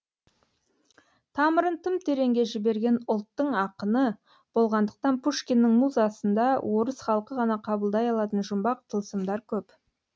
тамырын тым тереңге жіберген ұлттың ақыны болғандықтан пушкиннің музасында орыс халқы ғана қабылдай алатын жұмбақ тылсымдар көп